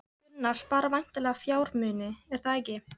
Gunnar: Spara væntanlega fjármuni, er það ekki?